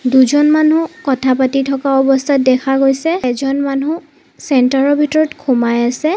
দুজন মানুহ কথা পাতি থকা অৱস্থাত দেখা গৈছে এজন মানুহ চেন্টাৰৰ ভিতৰত সোমাই আছে।